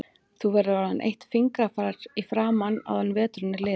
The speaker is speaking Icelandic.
Þú verður orðin eitt fingrafar í framan áður en veturinn er liðinn